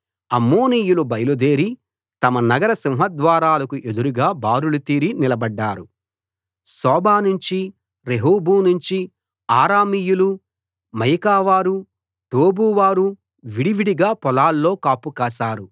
అమ్మోనీయులు బయలుదేరి తమ నగర సింహద్వారాలకు ఎదురుగా బారులు తీరి నిలబడ్డారు సోబా నుంచి రెహోబు నుంచి అరామీయులు మయకావారు టోబువారు విడివిడిగా పొలాల్లో కాపు కాశారు